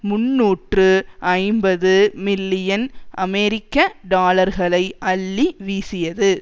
முன்னூற்று ஐம்பது மில்லியன் அமெரிக்க டாலர்களை அள்ளி வீசியது